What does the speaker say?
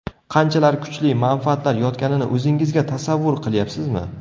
Qanchalar kuchli manfaatlar yotganini o‘zingizga tasavvur qilyapsizmi?